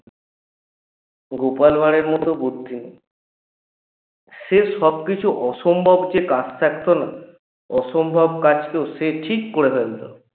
গোপাল ভাড়ের মত বুদ্ধি নেই সে সবকিছু অসম্ভবকে অসম্ভব কাজকেও সে ঠিক করে ফেলত